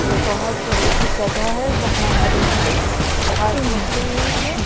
ये बहुत बड़ी सी जगह है यहां हरी हरी घास निकली हुई है।